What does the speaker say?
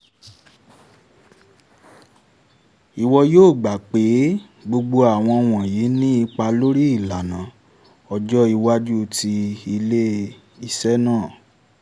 ìwọ yóò gbà pé gbogbo àwọn wọ̀nyí ní ipa lórí ìlànà ọjọ́ iwájú tí ilé-iṣẹ́ náà